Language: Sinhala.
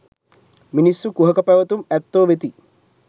මිනිස්සු කුහක පැවැතුම් ඇත්තෝ වෙති.